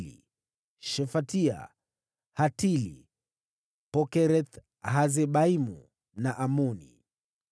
wazao wa Shefatia, Hatili, Pokereth-Hasebaimu na Amoni.